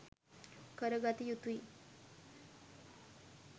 කරගත යුතුයි.